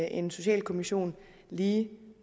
en socialkommission lige